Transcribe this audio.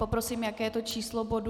Poprosím, jaké je to číslo bodu?